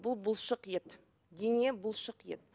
бұл бұлшық ет дене бұлшық ет